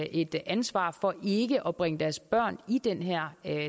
et ansvar for ikke at bringe deres børn i den her